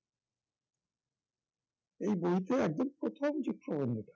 এই বইতে একদম প্রথম যে প্রবন্ধটা